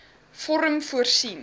vorm voorsien